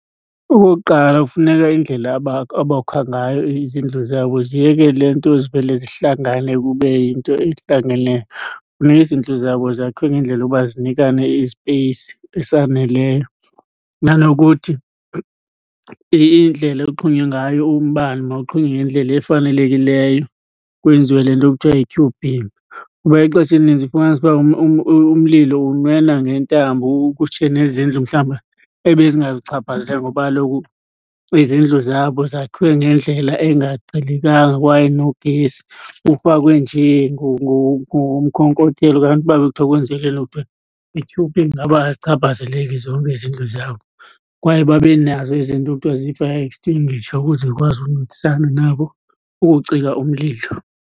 Okokuqala, kufuneka indlela abokha ngayo izindlu zabo ziyeke le nto zivele zihlangane kube yinto ehlangeneyo. Funeka izindlu zabo zakhiwe ngendlela yoba zinikane i-space esaneleyo. Nanokuthi indlela oxhonywe ngayo umbane mawuxhonywe ngendlela efanelekileyo kwenziwe le nto kuthiwa yi-Q_B. Kuba ixesha elininzi ufumanisa uba umlilo unwena ngentambo kutshe nezindlu mhlawumbi ebezingazuchaphazeleka ngoba kaloku izindlu zabo zakhiwe ngendlela engaqhelekanga kwaye nogesi ufakwe njee ngomkokotelo. Kanti uba bekuthiwa kwenziwe le nto kuthiwa yi-Q_B ngaba azichaphazeleki zonke izindlu zabo. Kwaye babe nazo ezi nto kuthiwa zi-fire extinguisher ukuze zikwazi uncedisana nabo ukuwucika umlilo.